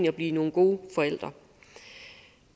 at blive nogle gode forældre